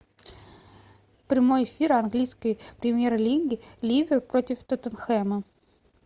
прямой эфир английской премьер лиги ливер против тоттенхэма